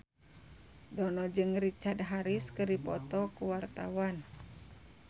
Dono jeung Richard Harris keur dipoto ku wartawan